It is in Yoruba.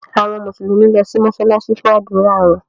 Àwọn Mùsùlùmí lọ si mósálásí fun ádùra wọn.